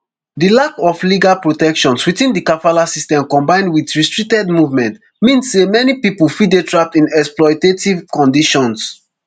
di lack of legal protections within di kafala system combined with restricted movement mean say many pipo fit dey trapped in exploitative conditions